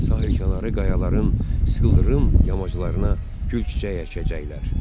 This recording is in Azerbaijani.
Sahilkənarı qayaların sıxıldırım yamaclarına gül çiçəyi əkəcəklər.